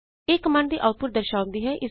ਇਹ ਕਮਾਂਡ ਦੀ ਆਊਟਪੁਟ ਦਰਸਾਉਂਦੀ ਹੈ